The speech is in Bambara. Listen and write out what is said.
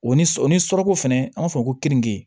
O ni sɔ ni surako fɛnɛ an b'a fɔ ko kenige